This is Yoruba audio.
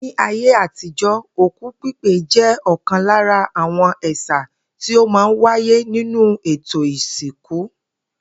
Ní ayé àtijo̩, òkú pípè jé̩ ò̩kan lára àwo̩n è̩sà tí ó máa ń wáyé nínú ètò ìsìnkú